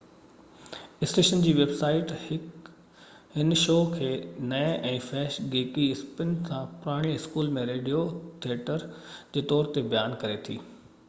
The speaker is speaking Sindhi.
اسٽيشن جي ويب سائيٽ هن شو کي نئين ۽ فحش گيڪي اسپن سان پراڻي اسڪول جي ريڊيو ٿيٽر جي طور تي بيان ڪري ٿي